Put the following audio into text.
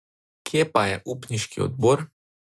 Kje pa je upniški odbor?